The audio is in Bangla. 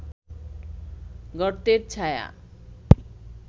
গর্তের ছায়া